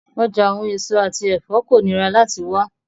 Ọja awọn eso ati ẹfọ ko nira lati wa